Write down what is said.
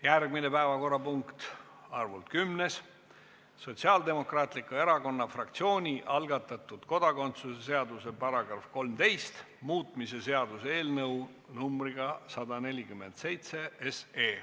Järgmine päevakorrapunkt, arvult kümnes: Sotsiaaldemokraatliku Erakonna fraktsiooni algatatud kodakondsuse seaduse § 13 muutmise seaduse eelnõu numbriga 147.